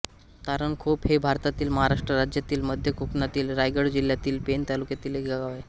तारणखोप हे भारतातील महाराष्ट्र राज्यातील मध्य कोकणातील रायगड जिल्ह्यातील पेण तालुक्यातील एक गाव आहे